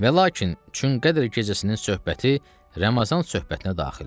Və lakin çün Qədr gecəsinin söhbəti Ramazan söhbətinə daxildir.